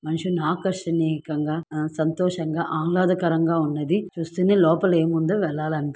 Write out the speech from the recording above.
మనిషిని ఆకర్షణీయకంగా అ సంతోషంగా ఆహ్లాదకరంగా ఉన్నది. చూస్తేనే లోపల ఏముందో వెళ్ళాలని--